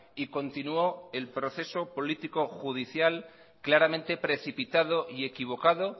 y continuó el proceso político judicial claramente precipitado y equivocado